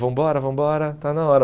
Vambora, vambora, está na hora.